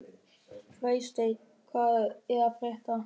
Freysteinn, hvað er að frétta?